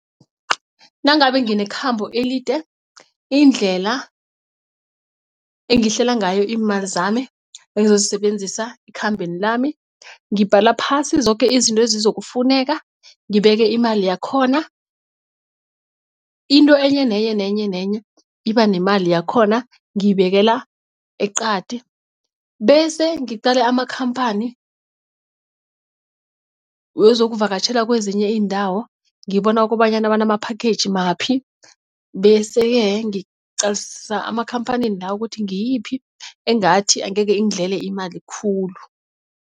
Nangabe nginekhambo elide indlela engihlela ngayo iimali zami engizozisebenzisa ekhambeni lami ngibhala phasi zoke izinto ezizokufuneka ngibeke imali yakhona. Into enyenenye nenye nenye iba nemali yakhona ngiyibekela eqadi bese ngiqale amakhamphani wezokuvakatjhela kwezinye iindawo ngibone kobanyana banama-package maphi bese-ke ngiqalisisa amakhamphanini lawo ukuthi ngiyiphi engathi angeke ingidlele imali khulu.